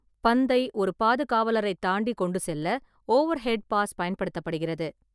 பந்தை ஒரு பாதுகாவலரைத் தாண்டி கொண்டு செல்ல ஓவர்ஹெட் பாஸ் பயன்படுத்தப்படுகிறது.